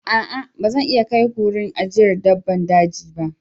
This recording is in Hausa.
A'a! Ba zan iya kai ku wurin ajiyar dabbban daji.